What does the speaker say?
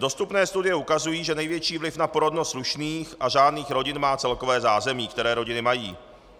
Dostupné studie ukazují, že největší vliv na porodnost slušných a řádných rodin má celkové zázemí, které rodiny mají.